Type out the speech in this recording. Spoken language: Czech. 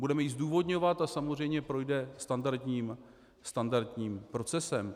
Budeme ji zdůvodňovat a samozřejmě projde standardním procesem.